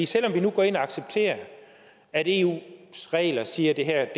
selv om vi nu går ind og accepterer at eus regler siger at det her